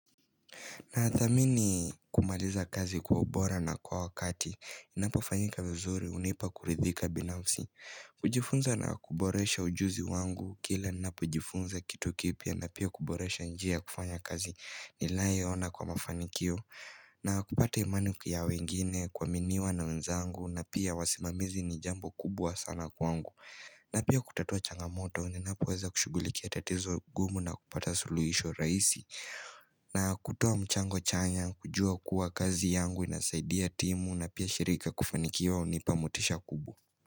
Nathamini kumaliza kazi kwa ubora na kwa wakati, inapofanyika mzuri hunipa kuridhika binafsi. Kujifunza na kuboresha ujuzi wangu, kila ninapojifunza kitu kipya na pia kuboresha njia kufanya kazi ninayo ona kwa mafanikio. Na kupata imani ya wengine kwa kuaminiwa na wenzangu na pia wasimamizi ni jambo kubwa sana kwangu. Na pia kutatua changamoto, ninapo weza kushughulikia tatizo gumu na kupata suluhisho rahisi. Na kutoa mchango chanya, kujua kuwa kazi yangu inasaidia timu na pia shirika kufanikiwa hunipa motisha kubwa.